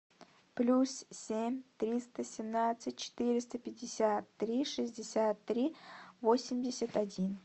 плюс семь триста семнадцать четыреста пятьдесят три шестьдесят три восемьдесят один